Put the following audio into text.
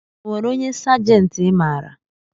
Onwere onye sajenti i maara?